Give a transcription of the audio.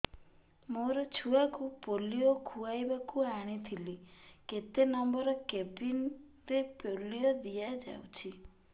ମୋର ଛୁଆକୁ ପୋଲିଓ ଖୁଆଇବାକୁ ଆଣିଥିଲି କେତେ ନମ୍ବର କେବିନ ରେ ପୋଲିଓ ଦିଆଯାଉଛି